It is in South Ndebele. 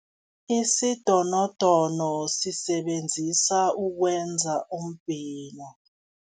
Isidonodono sisebenziswa ukwenza umbhino.